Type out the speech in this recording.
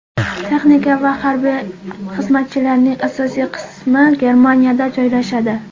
Texnika va harbiy xizmatchilarning asosiy qismi Germaniyada joylashadi.